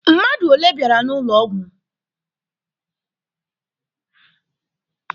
Mmadụ ole bịara n'ụlọ ọgwụ?